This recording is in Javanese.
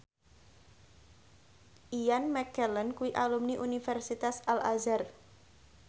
Ian McKellen kuwi alumni Universitas Al Azhar